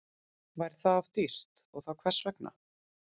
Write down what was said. Væri það of dýrt og þá hvers vegna?